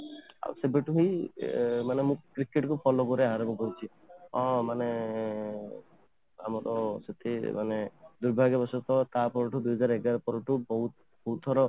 ଆଉ ସେବେଠୁ ହିଁ ମୁଁ ଅଂ ମାନେ cricket କୁ follow କରିବା ଆରମ୍ଭ କରିଛି ଅଂ ମାନେ ଆମର ଅଂ ଦୁର୍ଭାଗ୍ୟ ର ସହିତ ମାନେ ବହୁତ ଥର